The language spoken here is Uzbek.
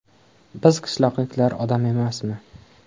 Biz qishloqliklar odam emasmi?